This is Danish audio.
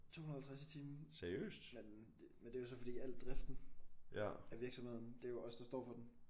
250 i timen men men det jo så fordi al driften af virksomheden det er jo os der står for den